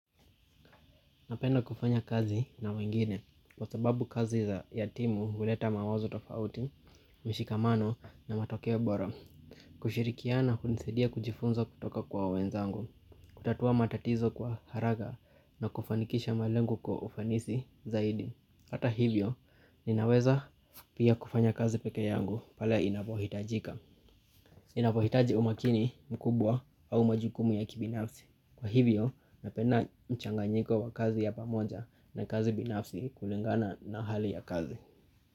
Napenda kufanya kazi na wengine kwa sababu kazi za ya timu huleta mawazo tofauti, mshikamano na matokeo bora kushirikiana hunisaidia kujifunza kutoka kwa wenzangu, kutatua matatizo kwa haraka na kufanikisha malengo kwa ufanisi zaidi Hata hivyo, ninaweza pia kufanya kazi peke yangu pale inapohitajika ninapohitaji umakini mkubwa au majukumu ya kibinafsi Kwa hivyo, napenda mchanganyiko wa kazi ya pamoja na kazi binafsi kulingana na hali ya kazi.